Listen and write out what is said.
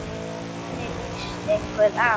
Hvernig lýst ykkur á?